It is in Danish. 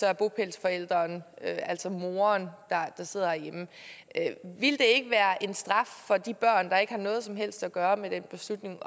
er bopælsforælderen altså moderen der sidder herhjemme ville det ikke være en straf for de børn der ikke har noget som helst at gøre med den beslutning